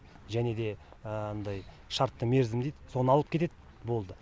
және де анадай шартты мерзім дейді соны алып кетеді болды